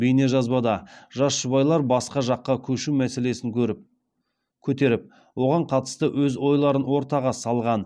бейнежазбада жас жұбайлар басқа жаққа көшу мәселесін көтеріп оған қатысты өз ойларын ортаға салған